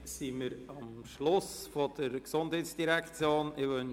Damit sind wir am Ende der Geschäfte der GEF angelangt.